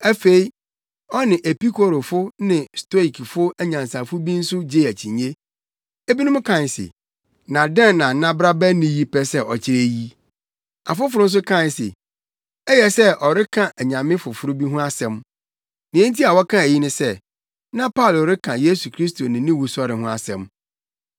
Afei, ɔne Epikurofo ne Stoikfo anyansafo bi nso gyee akyinnye. Ebinom kae se, “Na dɛn na nnabrabani yi pɛ sɛ ɔkyerɛ yi?” Afoforo nso kae se, “Ɛyɛ sɛ ɔreka anyame afoforo bi ho asɛm.” Nea enti a wɔkaa eyi ne sɛ, na Paulo reka Yesu Kristo ne ne wusɔre ho asɛm.